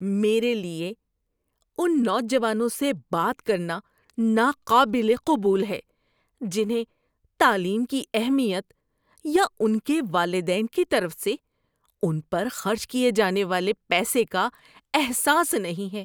میرے لیے ان نوجوانوں سے بات کرنا ناقابل قبول ہے جنہیں تعلیم کی اہمیت یا ان کے والدین کی طرف سے ان پر خرچ کیے جانے والے پیسے کا احساس نہیں ہے۔